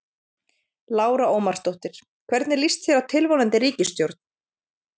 Lára Ómarsdóttir: Hvernig líst þér á tilvonandi ríkisstjórn?